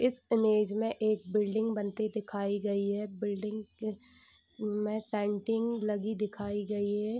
इस इमेज में एक बिल्डिंग बनते दिखाए गयी है बिल्डिंग में सेंटिंग लगी दिखाई गयी है।